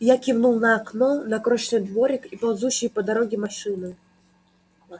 я кивнул на окно на крошечный дворик и ползущие по дороге машины